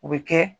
O bɛ kɛ